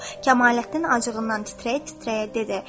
Kamaləddin acığından titrəyə-titrəyə dedi.